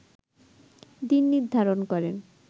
দিন নির্ধারণ করেন